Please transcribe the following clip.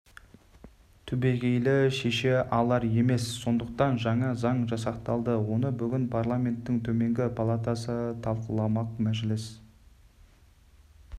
түбегейлі шеше алар емес сондықтан жаңа заң жасақталды оны бүгін парламенттің төменгі палатасы талқыламақ мәжіліс